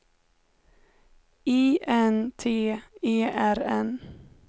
I N T E R N